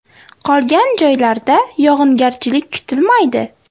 Qolgan joylarda yog‘ingarchilik kutilmaydi.